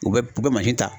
U bɛ u bɛ ta